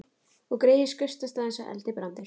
Og greyið skaust af stað eins og eldibrandur.